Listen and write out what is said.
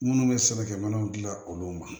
Minnu bɛ sɛbɛnkɛ minɛnw dilan olu ma